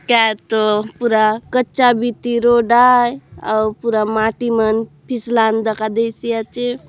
क्या तो पूरा कच्चा वीती रोड आए और पूरा माट्टिमन फिसलाम देखा देसी आचे।